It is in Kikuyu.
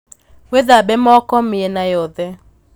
Wīthambe moko mīena yothe